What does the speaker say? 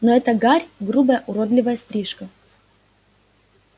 но эта гарь грубая уродливая стрижка